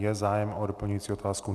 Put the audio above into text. Je zájem o doplňující otázku?